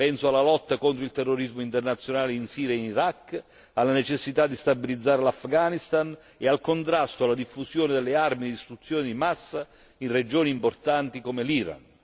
Penso alla lotta contro il terrorismo internazionale in Siria e in Iraq, alla necessità di stabilizzare l'Afghanistan e al contrasto alla diffusione delle armi di distruzione di massa in regioni importanti come l'Iran.